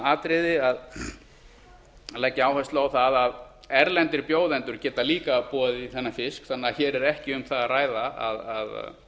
atriði að leggja áherslu á það að erlendir bjóðendur geti líka boðið í þennan fisk þannig að hér er ekki um það að